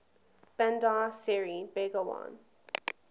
bandar seri begawan